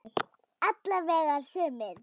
Alla vega sumir.